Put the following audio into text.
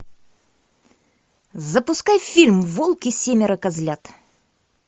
запускай фильм волк и семеро козлят